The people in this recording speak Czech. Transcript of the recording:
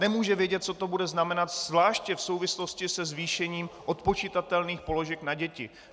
Nemůže vědět, co to bude znamenat zvláště v souvislosti se zvýšením odpočitatelných položek na děti.